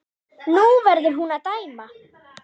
Nú verður hún að dæma.